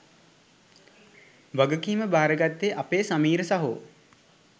වගකීම භාරගත්තේ අපේ සමීර සහෝ.